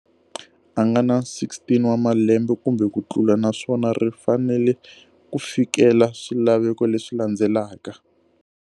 A nga ni 16 wa malembe kumbe ku tlula, naswona ri fanele ku fikela swilaveko leswi landzelaka.